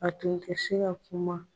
A tun tɛ se ka kuma.